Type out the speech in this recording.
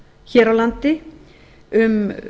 hér á landi um